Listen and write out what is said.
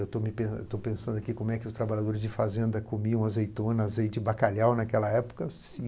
Estou me pen, estou pensando como os trabalhadores de fazenda comiam azeitona, azeite e bacalhau naquela época, se